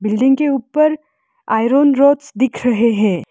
Building के ऊपर iron rods दिख रहे है।